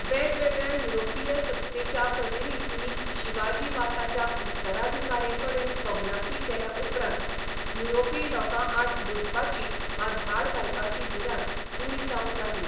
वेगवेगळ्या युरोपीय सत्तेच्या प्रतिनिधींनी शिवाजी वा ताच्या उत्तराधिकारींकडेन कबलाती केल्या उपरांत युरोपी लोकांआड लुटपाची वा धाड घालपाची भिरांत उणी जावंक लागली.